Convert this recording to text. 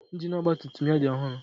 Ịnjin ọgba tum tum ya dị ọhụrụ.